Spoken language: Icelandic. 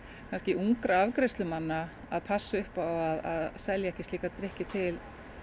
ungra afgreiðslumanna að selja ekki slíka drykki til